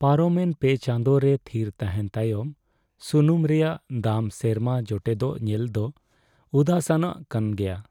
ᱯᱟᱨᱚᱢᱮᱱ ᱯᱮ ᱪᱟᱸᱫᱳ ᱨᱮ ᱛᱷᱤᱨ ᱛᱟᱦᱮᱱ ᱛᱟᱭᱚᱢ ᱥᱩᱱᱩᱢ ᱨᱮᱭᱟᱜ ᱫᱟᱢ ᱥᱮᱨᱢᱟ ᱡᱚᱴᱮᱫᱚᱜ ᱧᱮᱞ ᱫᱚ ᱩᱫᱟᱹᱥᱟᱱᱟᱜ ᱠᱟᱱ ᱜᱮᱭᱟ ᱾